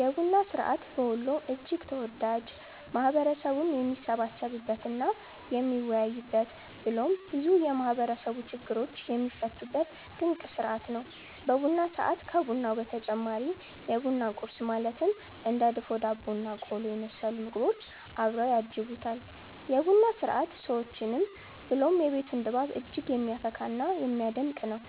የቡና ስርዐት በወሎ እጅግ ተወዳጅ፣ ማህበረሰቡም የሚሰባሰብበት እና የሚወያይበት ብሎም ብዙ የማህበረሰቡ ችግሮች የሚፈቱበት ድንቅ ስርዐት ነው። በቡና ሰዐት ከቡናው በተጨማሪ የቡና ቁረስ ማለትም እንደ ድፎ ዳቦ እና ቆሎ የመሰሉ ምግቦች አብረው ያጅቡታል። የ ቡና ስርዐት ሰዎችን ብሎም የቤቱን ድባብ እጅግ የሚያፈካ እና የሚያደምቅ ነው።